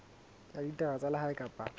ya ditaba tsa lehae kapa